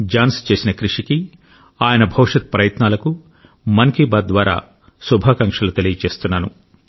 Johne's చేసిన కృషికి ఆయన భవిష్యత్ ప్రయత్నాలకు మన్ కీ బాత్ ద్వారా శుభాకాంక్షలు తెలియజేస్తున్నాను